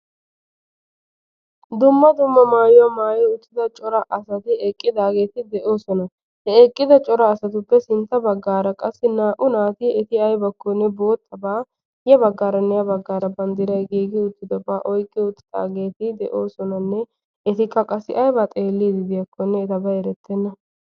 Dumma dumma maayuwa maayi uttida cora asati eqqidaageeti de'oosona. He eqqida cora asatuppe sintta baggaara qassi naa"u naati eti aybakkonne boottabaa ya baggaaranne ha baggaara banddirayi giigi uttidobaa de'oosonanne etikka qassi ayba xeelliiddi diyakkonne etabay erettenna.